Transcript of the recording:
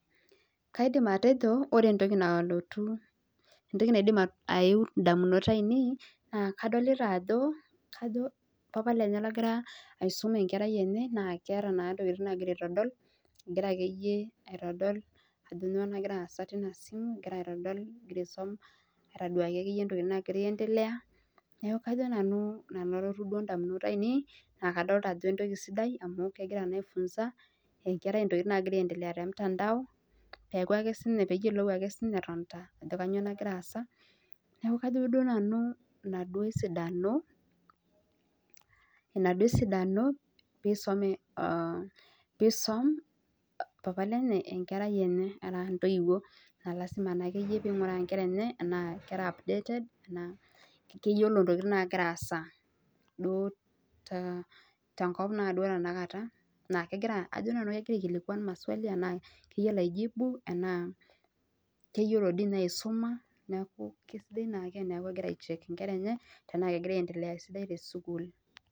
Kaidim atejo ore entoki nalotu indamunot ainei naa kadolita ajo papa lenye ogira aisum enkerai enye naa keeta naa ntokiting naagira aitodol egira akeyie aitodol ajo nyoo nagira aasa tinasimu egira aduaya ntokiting naagira aendelea niaku kajo nanu anoto ake duo ntamunot ainei niaku entoki sidai amu egira aifunza te mtandao peeyiolou siininye etonita ajo kanyoo nagira aasa niaku kajo siinanu ina duo esidano piisom papa lenye enkerai enye ashu ntoiwuo naa lazima naa peeyiolou ntokiting naagira aasa tenkop naa duo tenakata Ajo nanu kegira aikilikwan anaa kegira aijibu anaa kegira aisuma neeku kesidai naa tenichek ingera tenaa kegira aendelea esidai tesukuul